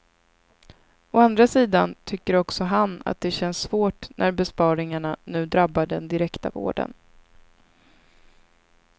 Å andra sidan tycker också han att det känns svårt när besparingarna nu drabbar den direkta vården.